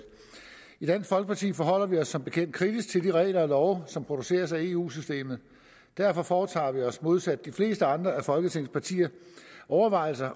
i dansk folkeparti forholder vi os som bekendt kritisk til de regler og love som produceres af eu systemet derfor foretager vi os modsat de fleste andre af folketingets partier overvejelser